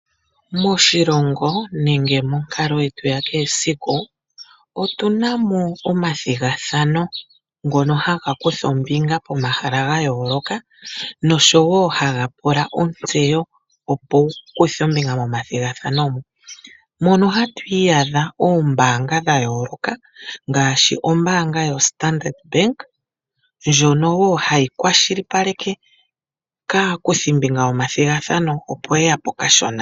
Moshilongo nenge monkalo yetu yakehe siku, otuna mo omathigathano, ngono haga kutha ombinga pomahala gayooloka, noshowo haga pula ontseyo, opo wu kuthe ombinga momathigathano mo. Mono ohamwi iyadha oombaanga dhayooloka, ngaashi ombaanga yoStandard Bank, ndjono wo hayi kwashilipaleke aakuthimbinga yomathigathano opo yeyape okashona.